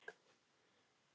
Hvernig eldumst við?